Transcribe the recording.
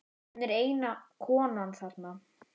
Hún er eina konan þarna.